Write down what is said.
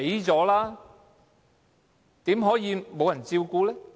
怎麼可以沒有人照顧的呢？